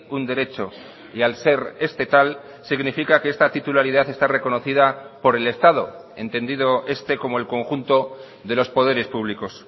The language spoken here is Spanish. un derecho y al ser este tal significa que esta titularidad está reconocida por el estado entendido este como el conjunto de los poderes públicos